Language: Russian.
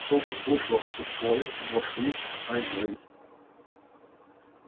потом услышала что в туалет вошли и стали говорить